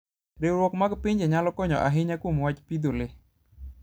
Riwruok mag pinje nyalo konyo ahinya kuom wach pidho le.